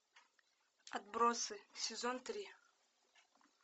отбросы сезон три